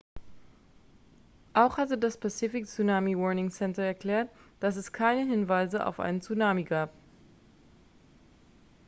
auch hatte das pacific tsunami warning center erklärt dass es keine hinweise auf einen tsunami gab